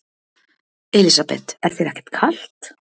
Elísabet: Er þér ekkert kalt?